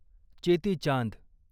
Cheti Chand